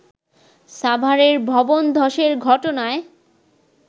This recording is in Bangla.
সাভারের ভবনধসের ঘটনায়